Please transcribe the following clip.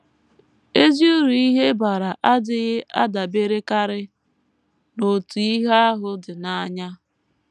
EZI uru ihe bara adịghị adaberekarị n’otú ihe ahụ dị n’anya.